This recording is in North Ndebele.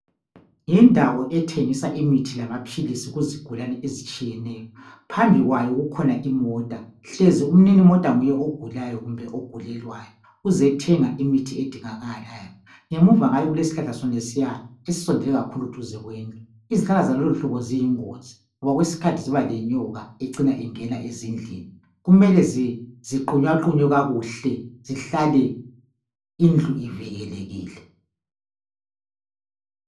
Yindawo ethengisa imithi lamaphilisi kuzigulane ezitshiyeneyo. Phambi kwayo kukhona imota, hlezi umninimota nguye ogulayo kumbe ogulelwayo, uzethenga imithi edingakalayo. Ngemuva ngale kulesihlahla sonesiya esisondele kakhulu duze kwendlu, izihlahla zaluluhlobo ziyingozi ngoba kwesinye iskhathi ziba lenyoka ecina ingena ezindlini. Kumele ziqunywaqunywe kakuhle, zihlale indlu ivikelekile.